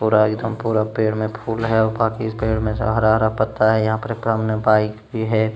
पूरा एकदम पूरा पेड़ में फूल है हरा-हरा पत्ता है यहाँ पर एक बाइक भी है।